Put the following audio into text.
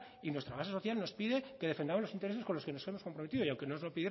y nuestra base social nos pide que defendamos los intereses con los que nos hemos comprometido